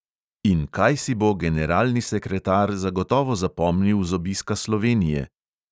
In kaj si bo generalni sekretar zagotovo zapomnil z obiska slovenije?